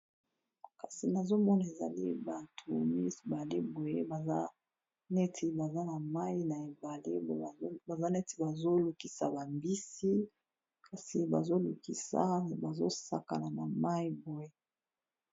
Kasi nazomona ezali batu mibale boye baza neti baza na mayi na ebale boye baza neti bazo lukisa ba mbisi kasi ba zolukisa bazosakana na mayi boye.